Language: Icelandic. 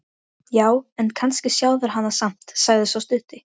Oddfreyja, læstu útidyrunum.